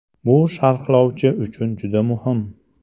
Bu sharhlovchi uchun juda muhim.